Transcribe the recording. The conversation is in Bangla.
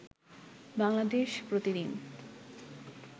বাংলাদেশ প্রতিদিন